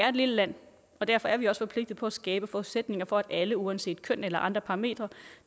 er et lille land og derfor er vi også forpligtet på at skabe forudsætninger for at alle uanset køn eller andre parametre